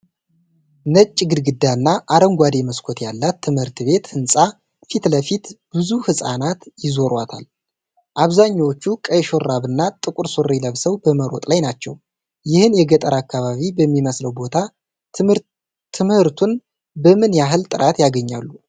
ነጭ ግድግዳ እና አረንጓዴ መስኮት ያላት ትምህርት ቤት ህንጻ ፊት ለፊት ብዙ ህጻናት ይዟዟራሉ። አብዛኞቹ ቀይ ሹራብ እና ጥቁር ሱሪ ለብሰው በመሮጥ ላይ ናቸው፣ ይህ የገጠር አካባቢ በሚመስለው ቦታ ትምህርቱን በምን ያህል ጥራት ያገኛሉ?